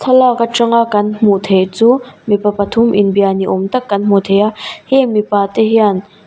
thlalak aṭanga kan hmuh theih chu mipa pathum inbia ni awm tak kan hmu thei a hêng mipa te hian--